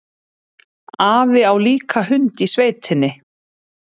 Afi á líka hund í sveitinni.